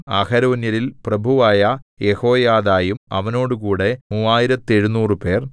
അഹരോന്യരിൽ പ്രഭുവായ യെഹോയാദായും അവനോടുകൂടെ മൂവായിരത്തെഴുനൂറുപേർ